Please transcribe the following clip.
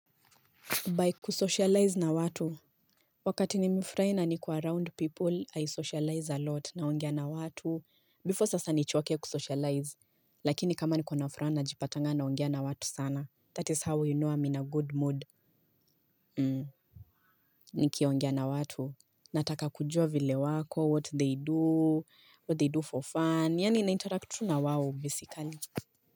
By kusocialize na watu, wakati nimefurai na niko around people, I socialize a lot naongea na watu. Before sasa nichoke kusocialize, lakini kama niko na furaha najipatanga naongea na watu sana. That is how we know I'm in a good mood. Nikiongea na watu, nataka kujua vile wako, what they do, what they do for fun, yani nainteract tu na wawo basically.